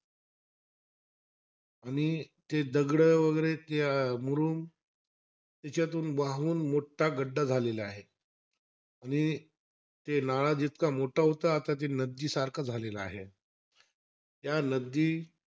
आणि ते दगडं वगैरे ते अं मुरूम त्यांच्यातून वाहून मोठा गड्डा झालेला आहे. आणि ते नाळा जितका मोठा होता आता नदीसारखा झालेला आहे. त्या नदी,